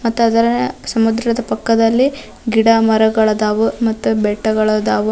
ಮತ್ತದರ ಸಮುದ್ರದ ಪಕ್ಕದಲ್ಲಿ ಗಿಡ ಮರಗಳಾದವು ಬೆಟ್ಟಗಳಾದವು.